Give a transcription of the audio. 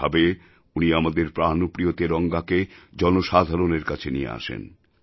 এই ভাবে উনি আমাদের প্রাণপ্রিয় তিরঙ্গাকে জনসাধারণের কাছে নিয়ে আসেন